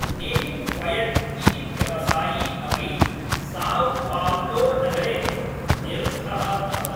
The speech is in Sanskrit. नेगिब् फ़यद् इति व्यवसायी अपि साव् पाव्लो नगरे निरुद्धः अभवत्।